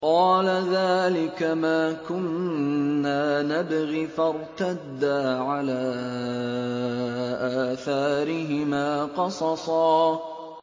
قَالَ ذَٰلِكَ مَا كُنَّا نَبْغِ ۚ فَارْتَدَّا عَلَىٰ آثَارِهِمَا قَصَصًا